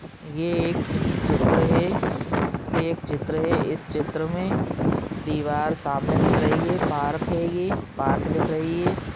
ये एक चित्र है ये एक चित्र है इस चित्र मे दीवार सामने दिख रही है पार्क है ये पार्क दिख रही है।